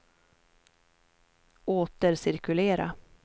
återcirkulera